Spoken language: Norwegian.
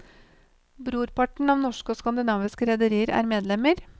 Brorparten av norske og skandinaviske rederier er medlemmer.